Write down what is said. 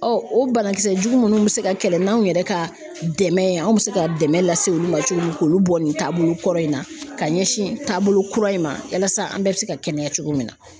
Ɔ o banakisɛ jugu ninnu bɛ se ka kɛlɛ n'anw yɛrɛ ka dɛmɛ ye anw bɛ se ka dɛmɛ lase olu ma cogo min k'olu bɔ nin taabolo kɔrɔ in na ka ɲɛsin taabolo kura in ma yasa an bɛɛ bɛ se ka kɛnɛya cogo min na